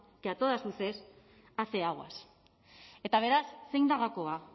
que a todas luces hace aguas eta beraz zein da gakoa